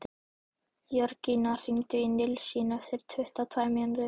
Jörgína, hringdu í Nilsínu eftir tuttugu og tvær mínútur.